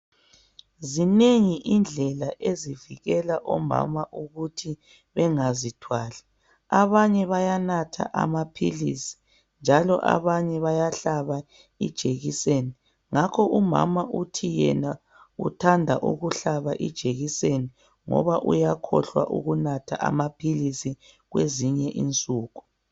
Zinengi indlela ezivikela omama ukuthi bengazithwali, abanye bayanatha amaphilisi njalo abanye bayahlaba ijekiseni. Ngakho umama uthi yena uthanda ukuhlaba ijekiseni ngoba uyakhohlwa ukunatha amaphilisi kwezinye insuku.